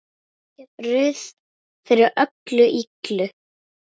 Ruth fyrir öllu illu.